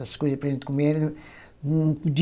As coisas para gente comer era.